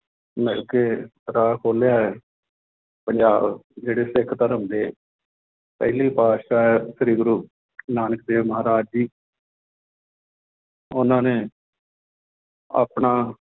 ਮਿਲਕੇ ਰਾਹ ਖੋਲਿਆ ਹੈ ਪੰਜਾਬ ਜਿਹੜੇ ਸਿੱਖ ਧਰਮ ਦੇ ਪਹਿਲੇ ਪਾਤਿਸ਼ਾਹ ਹੈ ਸ੍ਰੀ ਗੁਰੂ ਨਾਨਕ ਦੇਵ ਮਹਾਰਾਜ ਜੀ ਉਹਨਾਂ ਨੇ ਆਪਣਾ